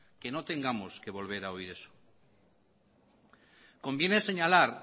que no tengamos que volver a oír eso conviene señalar